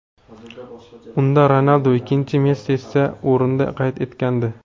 Unda Ronaldu ikkinchi, Messi esa o‘rinda qayd etilgandi .